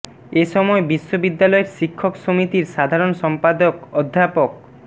এ সময় বিশ্ববিদ্যালয়ের শিক্ষক সমিতির সাধারণ সম্পাদক অধ্যাপক ড